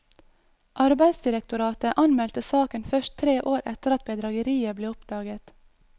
Arbeidsdirektoratet anmeldte saken først tre år etter at bedrageriet ble oppdaget.